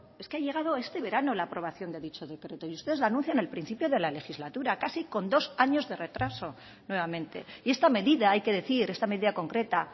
es que ha llegado este verano la aprobación de dicho decreto y usted lo anuncian en el principio de la legislatura casi con dos años de retraso nuevamente y esta medida hay que decir esta medida concreta